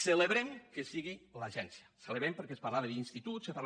celebrem que sigui l’agència ho celebrem perquè es parlava d’instituts se parlava